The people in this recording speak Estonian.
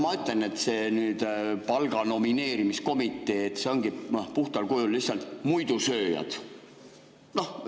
Ma ütlen, et selles palga nomineerimise komitees on puhtal kujul lihtsalt muidusööjad.